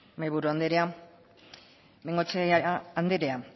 mahaiburu andrea bengoechea andrea